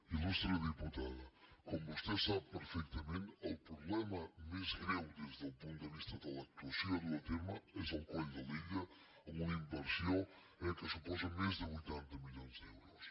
il·lustre diputada com vostè sap perfectament el problema més greu des del punt de vista de l’actuació a dur a terme és el coll de lilla amb una inversió eh que suposa més de vuitanta milions d’euros